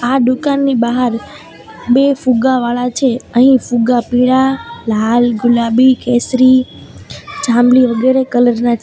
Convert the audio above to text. આ દુકાનની બહાર બે ફુગ્ગા વાળા છે અહીં ફુગ્ગા પીડા લાલ ગુલાબી કેસરી જામલી વગેરે કલર ના છે.